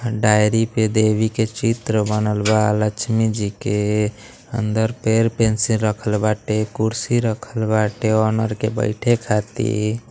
Diary पे देवी के चित्र बनल बा। लक्ष्मी जी के। अंदर पेन पेंसिल रखल बाटे कुर्शी रखल बाटे ओनर के बैठे खातिर।